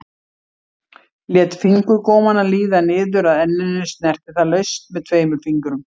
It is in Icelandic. Lét fingurgómana líða niður að enninu, snerti það laust með tveimur fingrum.